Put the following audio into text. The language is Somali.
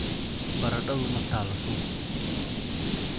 Baradhadu maa talo suuqa.